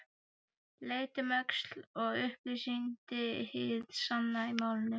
Leit um öxl og upplýsti hið sanna í málinu